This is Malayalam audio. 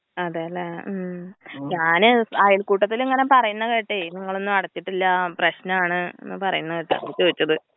അതേല്ലെ ഞാന് അയൽകൂട്ടത്തിലിങ്ങനെ പറയുന്ന കേട്ടെ നിങ്ങളൊന്നും അടച്ചിട്ടില്ല പ്രശ്നാണ് എന്ന പറയുന്ന കേട്ടു അതാ ചോയ്ച്ചത്.